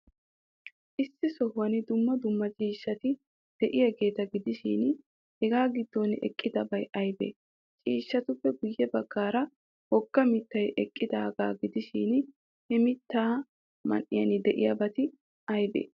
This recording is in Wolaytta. Issi sohuwan dumma dumma ciishshati de'iyaageeta gidishin, Hegaa giddon eqqidabay aybee? Ciishshatuppe guyye baggaara wogga mittay eqqidaagaa gidishin, he mittaa man''iyan de'iyaabati aybee?